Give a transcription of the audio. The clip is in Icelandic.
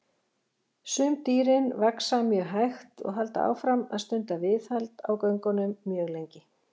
Sum dýrin vaxa mjög hægt og halda áfram að stunda viðhald á göngunum mjög lengi.